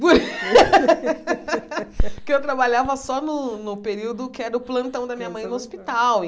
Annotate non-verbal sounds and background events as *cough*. *laughs* Porque eu trabalhava só no no período que era o plantão da minha mãe no hospital.